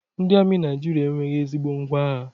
Ndị amị Naijiria enweghị ezigbo ngwá agha